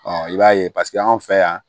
i b'a ye paseke anw fɛ yan